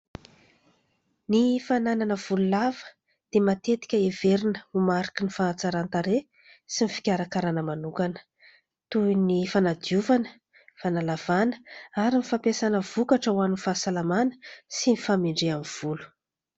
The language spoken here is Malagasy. Ny fananana volo lava dia matetika heverina ho mariky ny fahatsaran-tarehy sy ny fikarakarana manokana, toy ny fanadiovana, fanalavana ary ny fampiasana vokatra ho an'ny fahasalamana sy ny fahamendrehan'ny volo.